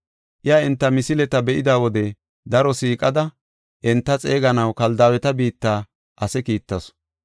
Iya enta misileta be7ida wode daro siiqada, enta xeeganaw Kaldaaweta biitta ase kiittasu.